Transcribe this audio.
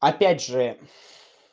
опять же